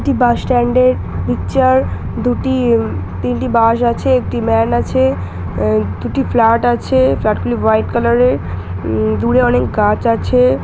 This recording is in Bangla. এটি বাসস্ট্যান্ডের পিকচার দুটি তিনটি বাস আছে একটি ম্যান আছে দুটি ফ্ল্যাট আছে ফ্ল্যাট গুলি হোয়াইট কালারের উম দূরে অনেক গাছ আছে।